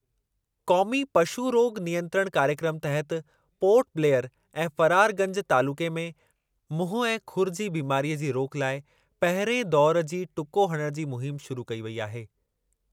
क़ौमी पशु रोग नियंत्रण कार्यक्रमु तहति पोर्ट ब्लेयर ऐं फरारगंज तालुक़े में मुंहुं ऐं खुरु जी बीमारीअ जी रोक लाइ पहिरिएं दौरु जी टुको हणण जी मुहिम शुरू कई वेई आहे।